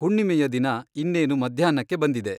ಹುಣ್ಣಿಮೆಯ ದಿನ ಇನ್ನೇನು ಮಧ್ಯಾಹ್ನಕ್ಕೆ ಬಂದಿದೆ.